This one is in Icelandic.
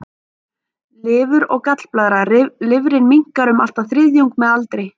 Lifur og gallblaðra Lifrin minnkar um allt að þriðjung með aldri.